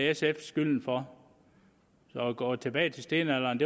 sf skylden for så at gå tilbage til stenalderen